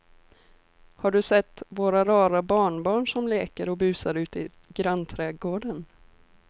Har du sett våra rara barnbarn som leker och busar ute i grannträdgården!